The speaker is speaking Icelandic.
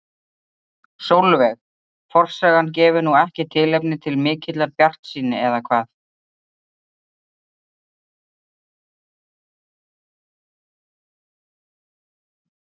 Sólveig: Forsagan gefur nú ekki tilefni til mikillar bjartsýni eða hvað?